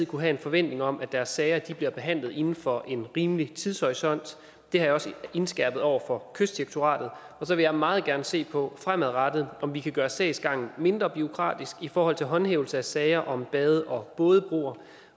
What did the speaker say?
kunne have en forventning om at deres sager bliver behandlet inden for en rimelig tidshorisont og det har jeg også indskærpet over for kystdirektoratet og så vil jeg meget gerne se på fremadrettet om vi kan gøre sagsgangen mindre bureaukratisk i forhold til håndhævelse af sager om bade og bådebroer